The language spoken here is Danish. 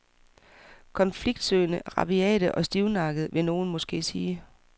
Konfliktsøgende, rabiate og stivnakkede, vil nogen måske sige.